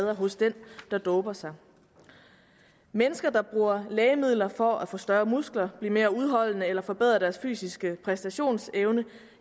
hos den der doper sig mennesker der bruger lægemidler for at få større muskler blive mere udholdende eller forbedre deres fysiske præstationsevne